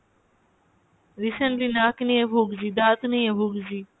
recently নাক নিয়ে ভুগছি ,দাঁত নিয়ে ভুগছি।